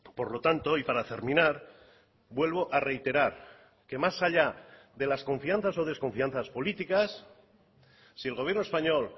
por lo tanto y para terminar vuelvo a reiterar que más allá de las confianzas o desconfianzas políticas si el gobierno español